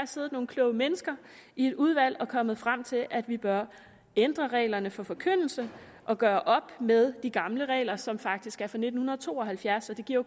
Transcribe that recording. siddet nogle kloge mennesker i et udvalg og er kommet frem til at vi bør ændre reglerne for forkyndelse og gøre op med de gamle regler som faktisk er fra nitten to og halvfjerds det giver